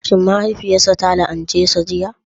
Shin mahaifiyarsa ta la'ance shi a jiya?